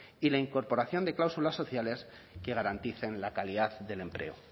y la incorporación de cláusulas sociales que garanticen la calidad del empleo